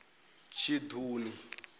tshiṱuni